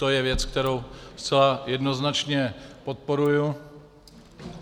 To je věc, kterou zcela jednoznačně podporuji.